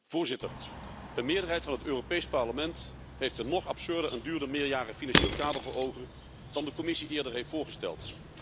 Voorzitter, de meerderheid van het Europees Parlement heeft een nog absurder en duurder meerjarig financieel kader voor ogen dan de Commissie eerder heeft voorgesteld.